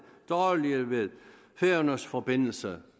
dårlige ved færøernes forbindelse